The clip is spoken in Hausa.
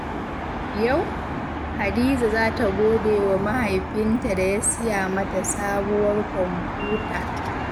Yau, Hadiza za ta gode wa mahaifinta da ya siya mata sabuwar kwamfuta.